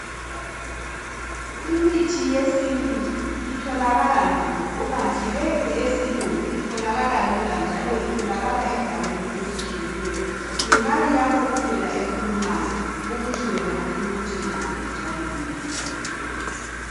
Imithi yesintu itholakala nzima. Kukanti leyi eyesilungu itholakala lula njalo itholaka endaweni ezitshiyeneyo. Yimali yakho kuphela ekhulumayo ukuthi wena ufuna ukuthenga ngaphi njalo nini.